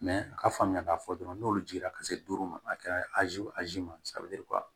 a ka faamuya k'a fɔ dɔrɔn n'olu jiginna ka se duuru ma a kɛra azi ma